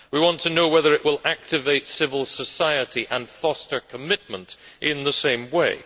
We want to know whether it will activate civil society and foster commitment in the same way.